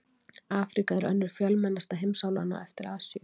Afríka er önnur fjölmennasta heimsálfan á eftir Asíu.